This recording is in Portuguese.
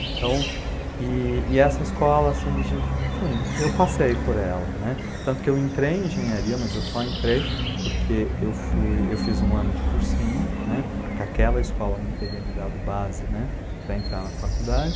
Então, e essa escola, assim, enfim, eu passei por ela, né, tanto que eu entrei em engenharia, mas eu só entrei porque eu fiz um ano de cursinho, né, porque aquela escola não teria me dado base, né, para entrar na faculdade.